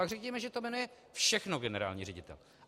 Pak řekněme, že to jmenuje všechno generální ředitel.